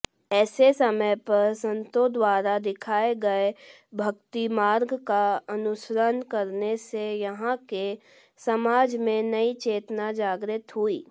ऐसे समयपर संतोंद्वारा दिखाए गए भक्तिमार्गका अनुसरण करनेसे यहांके समाजमें नई चेतना जागृत हुई